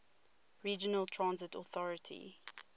regional transit authority